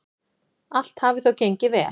Allt hafi þó gengið vel.